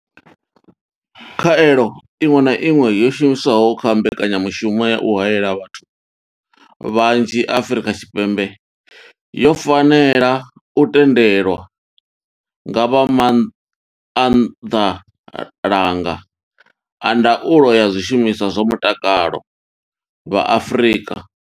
Khaelo iṅwe na iṅwe yo shumiswaho kha mbekanyamushumo ya u haela vhathu vhanzhi Afrika Tshipembe yo fanela u tendelwa nga vha maanḓalanga a ndaulo ya zwishumiswa zwa mutakalo vha Afrika.